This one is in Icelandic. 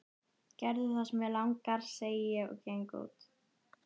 Gerðu það sem þig langar, segi ég og geng út.